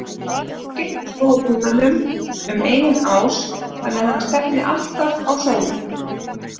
Nú getum við snúið pinnanum um eigin ás þannig að hann stefni alltaf á sólu.